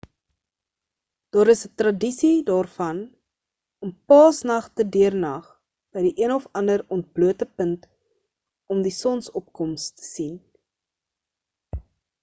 daar is 'n tradisie daarvan om paasnag te deurnag by die een of ander ontblote punt om die sonsopkoms te sien